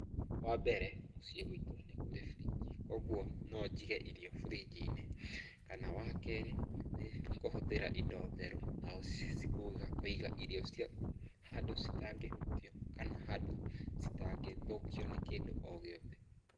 Wa mbere muciĩ guitũ nĩ kũrĩ fridge. Kwoguo no njige irio fridge -inĩ. Kana wa keerĩ nĩ kũhũthĩra indo theru na kũiga irio ciaku handũ citangĩhuutio kana handũ citangĩthũkio nĩ kĩndũ o gĩothe.